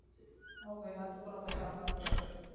அவங்க எல்லாத்துக்கும் ரொம்ப shock அ இருந்துருக்கு